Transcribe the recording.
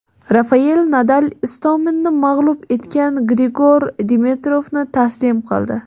Rafayel Nadal Istominni mag‘lub etgan Grigor Dimitrovni taslim qildi.